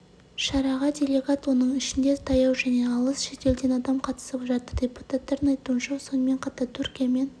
шараға делегат оның ішінде таяу және алыс шетелден адам қатысып жатыр депутаттардың айтуынша сонымен қатар түркиямен